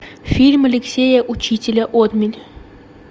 фильм алексея учителя отмель